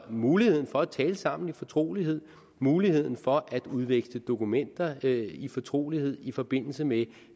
mulighed for at tale sammen i fortrolighed mulighed for at udveksle dokumenter i fortrolighed i forbindelse med